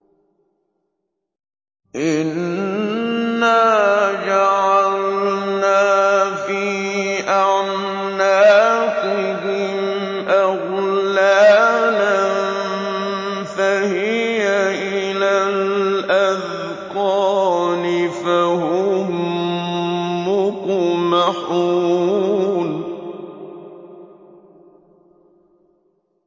إِنَّا جَعَلْنَا فِي أَعْنَاقِهِمْ أَغْلَالًا فَهِيَ إِلَى الْأَذْقَانِ فَهُم مُّقْمَحُونَ